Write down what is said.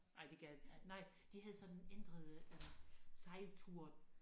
Ej det gad nej de havde sådan ændret øh sejltur